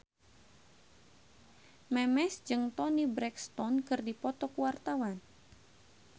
Memes jeung Toni Brexton keur dipoto ku wartawan